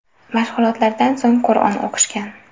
Mashg‘ulotlardan so‘ng Qur’on o‘qishgan.